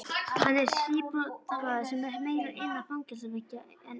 Hann er síbrotamaður sem er meira innan fangelsisveggja en utan.